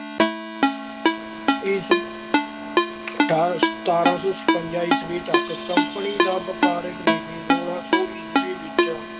ਇਸ ਅਠਾਰਾਂ ਸੌ ਸਤਵੰਜਾ ਈਸਵੀ ਤੱਕ company ਦੀ ਵਪਾਰਕ ਨੀਤੀ। ਸੋਲਾਂ ਸੌ ਈਸਵੀ ਵਿੱਚ